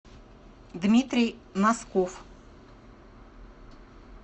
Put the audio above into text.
дмитрий носков